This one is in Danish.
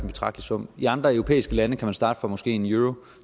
betragtelig sum i andre europæiske lande kan man starte for måske en euro